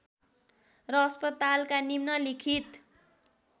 र अस्पतालका निम्नलिखित